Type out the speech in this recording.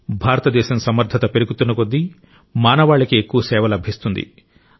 భారతదేశం సమర్థత పెరుగుతున్న కొద్దీ మానవాళికి ఎక్కువ సేవ లభిస్తుంది